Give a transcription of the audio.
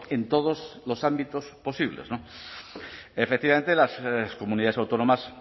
en todos los ámbitos posibles efectivamente las comunidades autónomas